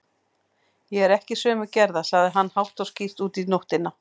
Ég er ekki sömu gerðar, sagði hann hátt og skýrt út í nóttina.